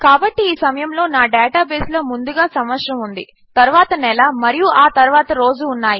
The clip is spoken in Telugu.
కాబట్టి ఈ సమయములో నా డేటాబేస్లో ముందుగా సంవత్సరము ఉంది తరువాత నెల మరియు ఆ తరువాత రోజు ఉన్నాయి